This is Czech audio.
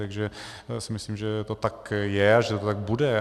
Takže si myslím, že to tak je a že to tak bude.